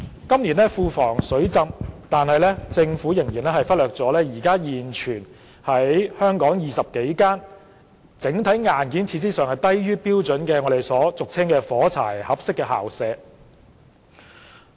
今年庫房"水浸"，但政府仍然忽略了現存20多間整體硬件和設施低於標準的學校校舍，俗稱為"火柴盒式校舍"。